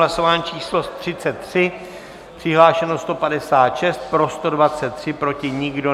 Hlasování číslo 33, přihlášeno 156, pro 123, proti nikdo.